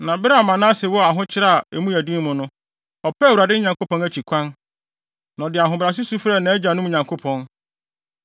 Na bere a Manase wɔ ahokyere a emu yɛ den mu no, ɔpɛɛ Awurade, ne Nyankopɔn akyi kwan, na ɔde ahobrɛase su frɛɛ nʼagyanom Nyankopɔn.